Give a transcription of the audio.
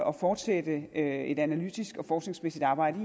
at fortsætte et analytisk og forskningsmæssigt arbejde